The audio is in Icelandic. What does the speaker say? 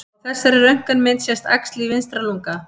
Á þessari röntgenmynd sést æxli í vinstra lunga.